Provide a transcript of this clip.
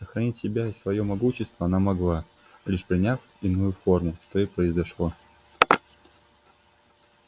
сохранить себя и своё могущество она могла лишь приняв иную форму что и произошло